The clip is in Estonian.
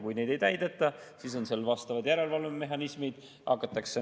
Kui neid ei täideta, siis on vastavad järelevalvemehhanismid.